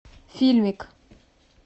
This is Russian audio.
фильмик